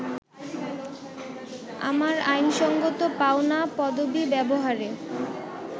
আমার আইনসঙ্গত পাওনা পদবি ব্যবহারে